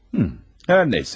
Hı. Hər nə isə.